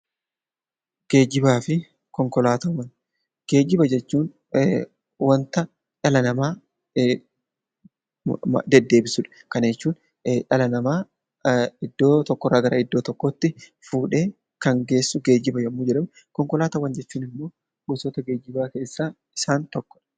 Geejjiba jechuun wanta dhala namaa deddeebisudha. Kana jechuun dhala namaa iddoo tokkorraa gara iddoo tokkootti fuudhee kan geessuu geejjiba yommuu jedhamu konkolaataan immoo gosoota geejjibaa keessaa isaan tokko